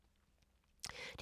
DR1